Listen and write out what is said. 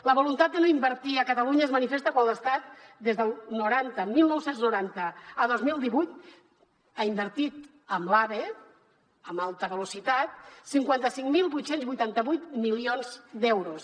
la voluntat de no invertir a catalunya es manifesta quan l’estat des del noranta dinou noranta a dos mil divuit ha invertit en l’ave en alta velocitat cinquanta cinc mil vuit cents i vuitanta vuit milions d’euros